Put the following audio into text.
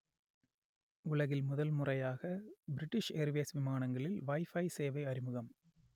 உலகில் முதல் முறையாக பிரிட்டிஷ் ஏர்வேஸ் விமானங்களில் வைஃபை சேவை அறிமுகம்